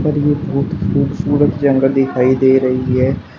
और ये बहुत खूबसूरत जंगल दिखाई दे रही है।